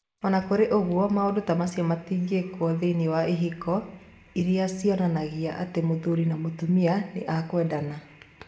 O na kũrĩ ũguo, maũndũ ta macio matingĩkwo thĩinĩ wa ihiko iria cionanagia atĩ mũthuri na mũtumia nĩ a kwendana.